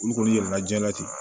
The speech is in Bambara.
Olu kɔni yɛlɛla diɲɛ la ten